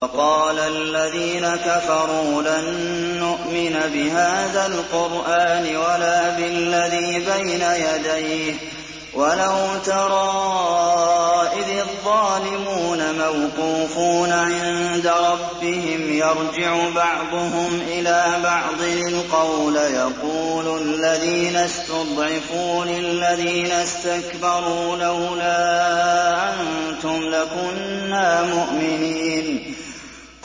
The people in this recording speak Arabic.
وَقَالَ الَّذِينَ كَفَرُوا لَن نُّؤْمِنَ بِهَٰذَا الْقُرْآنِ وَلَا بِالَّذِي بَيْنَ يَدَيْهِ ۗ وَلَوْ تَرَىٰ إِذِ الظَّالِمُونَ مَوْقُوفُونَ عِندَ رَبِّهِمْ يَرْجِعُ بَعْضُهُمْ إِلَىٰ بَعْضٍ الْقَوْلَ يَقُولُ الَّذِينَ اسْتُضْعِفُوا لِلَّذِينَ اسْتَكْبَرُوا لَوْلَا أَنتُمْ لَكُنَّا مُؤْمِنِينَ